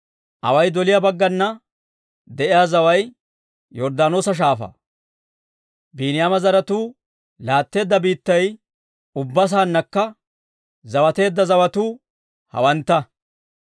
Away doliyaa baggana de'iyaa zaway Yorddaanoosa Shaafaa. Biiniyaama zaratuu laatteedda biittay ubbaa saannakka zawateedda zawatuu hawantta.